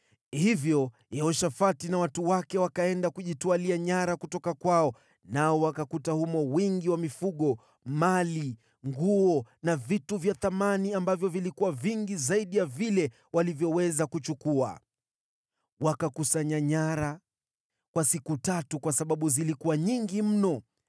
Hivyo Yehoshafati na watu wake wakaenda kujitwalia nyara kutoka kwao, nao wakakuta humo wingi wa mifugo, mali, nguo na vitu vya thamani, ambavyo vilikuwa vingi zaidi ya vile walivyoweza kuchukua. Wakakusanya nyara kwa siku tatu kwa sababu zilikuwa nyingi mno.